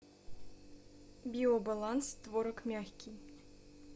биобаланс творог мягкий